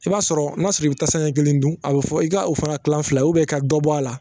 I b'a sɔrɔ n'a sɔrɔ i bɛ tasa ɲɛ kelen don, a bɛ fɔ i ka la tilan fila i ka dɔbɔ o la